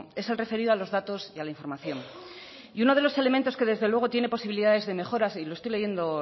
es el referido a los datos y a la información y uno de los elementos que desde luego tiene posibilidades de mejora y lo estoy leyendo